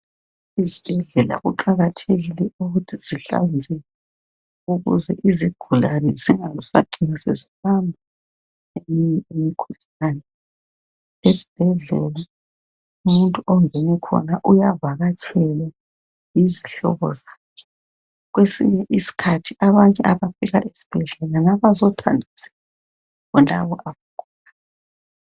Ezibhedlela kuqakathekile ukuthi sihlanzeke ukuze izigulane zingasacini sezibanjwa yimikhuhlane. Esibhedlela umuntu ongene khona uyavakatshelwa yizihlobo zakhe. Kwesinye isikhathi abanye abafika esibhedlela ngabazokhangela bonabo abagulayo.